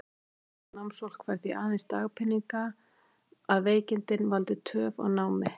Tekjulaust námsfólk fær því aðeins dagpeninga, að veikindin valdi töf á námi.